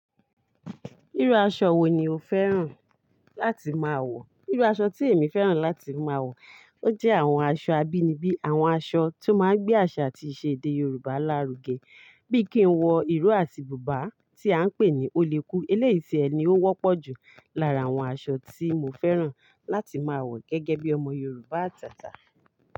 Irú aṣọ wo ni o fẹ́ràn láti máa wọ̀? Irú aṣọ tí èmi fẹ́ràn láti máa wọ̀, ó jẹ́ àwọn aṣọ abínibí, àwọn aṣọ tó máa ń gbé àṣà àti ìṣe èdè Yorùbá lárugẹ. Bí i kí n wọ ìró àti bùbá tí à ń pè ní olèku. Eléyi ti ẹni ó wọ́pọ̀ jù lára àwọn aṣọ tí mo fẹ́ràn láti máa wọ̀ gẹ́gẹ́ bí ọmọ Yorùbá àtàtà.